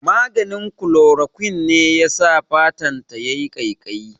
Maganin Chloroquine ne yasa fatan ta yayi ƙaiƙayi